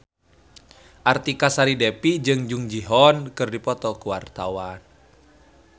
Artika Sari Devi jeung Jung Ji Hoon keur dipoto ku wartawan